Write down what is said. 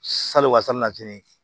Salɔn fini